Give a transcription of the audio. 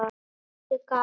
Henni þótti gaman.